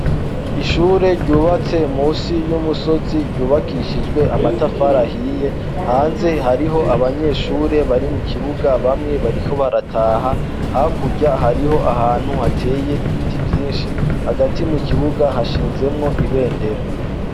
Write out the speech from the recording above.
Ishure ryubatse musi y'umusozi ryubakishijwe amatafarahiye hanze hariho abanyeshure bari mu kibuga bamwe bariko barataha hakurya hariho ahantu hateye ibiti vyinshi hagati mu kibuga hashinzemwo ibendera.